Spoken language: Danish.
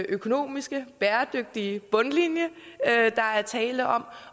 økonomiske og bæredygtige bundlinje